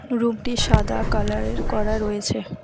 রুমটি সাদা কালারের করা রয়েছে।